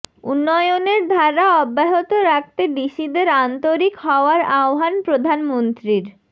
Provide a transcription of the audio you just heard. উন্নয়নের ধারা অব্যাহত রাখতে ডিসিদের আন্তরিক হওয়ার আহ্বান প্রধানমন্ত্রীর